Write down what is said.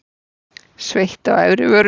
Sveitt á efri vörinni.